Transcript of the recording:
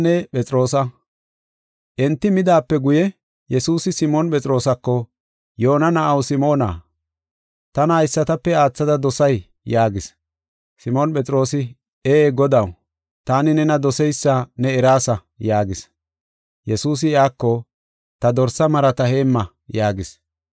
Enti midaape guye, Yesuusi Simoon Phexroosako, “Yoona na7aw Simoona, tana haysatape aathada dosay?” yaagis. Simoon Phexroosi, “Ee Godaw, taani nena doseysa ne eraasa” yaagis. Yesuusi iyako, “Ta dorsa marata heemma” yaagis.